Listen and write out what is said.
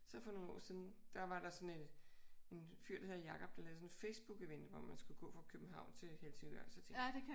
Så for nogle år siden der var der sådan et en fyr der hed Jacob der lavede sådan et Facebook-event hvor man skulle gå fra København til Helsingør. Så tænkte jeg